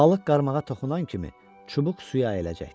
Balıq qarmağa toxunan kimi çubuq suya əyiləcəkdi.